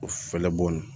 O fɛlɛbɔ